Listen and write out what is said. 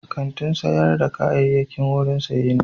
Kantin sayar da kayayyaki wurin saye ne.